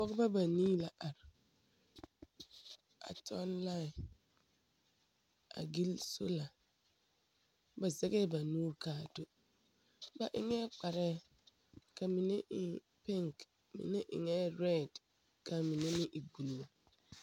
Noba banii la are a tɔŋ laẽ a gili soala ba zɛgɛɛ ba nuuri ka do ba eŋɛɛ kparɛɛ ka mine e penke, ka mine eɛ rɛde ka minemeŋ e buluu.